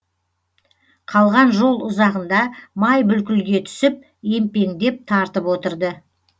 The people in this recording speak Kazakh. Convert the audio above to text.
қалған жол ұзағында май бүлкілге түсіп емпеңдеп тартып отырды